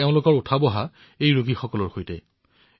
তেওঁলোকে দৈনিক এই ৰোগীসকলৰ সৈতে জড়িত আছে